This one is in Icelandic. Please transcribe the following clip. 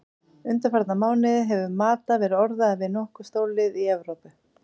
Undanfarna mánuði hefur Mata verið orðaður við nokkur stórlið í Evrópu.